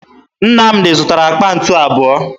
Nnamdi zụtara àkpà ntu abụọ